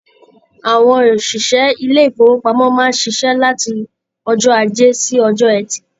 Àwọn òṣìṣẹ́ ilé-ìfowópamọ́ máa ń ṣiṣẹ́ láti ọjọ́ Ajé sí Ọjọ́ẹtì.